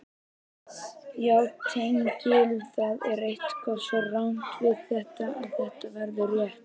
Sjá tengil Það er eitthvað svo rangt við þetta að þetta verður rétt.